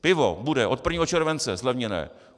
Pivo bude od 1. července zlevněné.